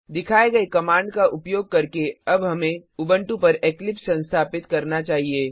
दिखाये गए कमाण्ड का उपयोग करके अब हमे उबंटू पर इक्लिप्स संस्थापित करना चाहिए